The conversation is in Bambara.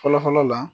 Fɔlɔ fɔlɔ la